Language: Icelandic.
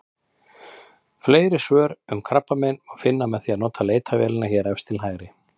Fleiri svör um krabbamein má finna með því að nota leitarvélina hér efst til hægri.